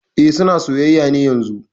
E, suna soyayya ne yanzun